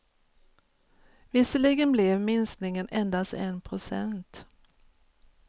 Visserligen blev minskningen endast en procent.